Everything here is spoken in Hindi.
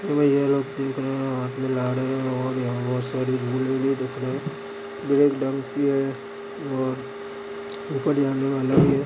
ये लोग देख रहे है हात मिला रहे है और ब्रेक डांस भी है और-- आनेवाला है।